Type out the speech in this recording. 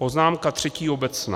Poznámka třetí - obecná.